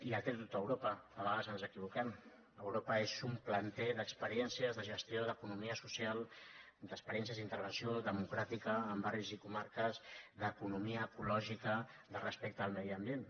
i el té tot europa a vegades ens equivoquem europa és un planter d’experiències de gestió d’economia social d’experiències d’intervenció democràtica en barris i comarques d’economia ecològica de respecte al medi ambient